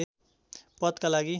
पदका लागि